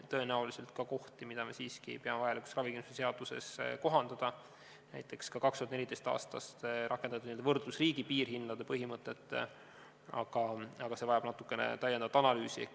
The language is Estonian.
Tõenäoliselt on ka kohti, mida me siiski ei pea vajalikuks ravikindlustuse seaduses kohandada, näiteks ka 2014. aastast rakendatud n-ö võrdlusriigi piirhindade põhimõte, aga see kõik vajab veel natuke analüüsi.